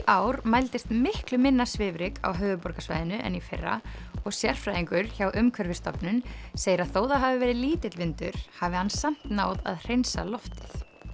ár mældist miklu minna svifryk á höfuðborgarsvæðinu en í fyrra og sérfræðingur hjá Umhverfisstofnun segir að þó það hafi verið lítill vindur hafi hann samt náð að hreinsa loftið